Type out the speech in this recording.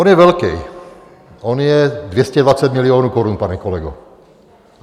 On je velký, on je 220 milionů korun, pane kolego.